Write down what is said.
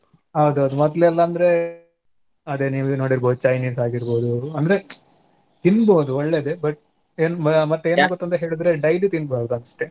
ಹೌದು ಹೌದು ಮೊದ್ಲೆಲ್ಲಾ ಅಂದ್ರೆ ಅದೇ ನೀವೇ ನೋಡಿರ್ಬೋದು Chinese ಆಗೀರ್ಬೋದು ಅಂದ್ರೆ ತೀನ್ಬೋದು ಒಳ್ಳೇದೇ but ಎನ್ ಮ~ ಮತ್~ ಎನ್ ಗೊತ್ತಂತ ಹೇಳಿದ್ರೆ daily ತಿನ್ಬಾದಸ್ಟೇ.